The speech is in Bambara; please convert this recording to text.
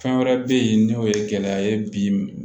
Fɛn wɛrɛ be yen n'o ye gɛlɛya ye bi